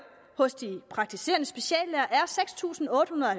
hos de praktiserende speciallæger er seks tusind otte hundrede og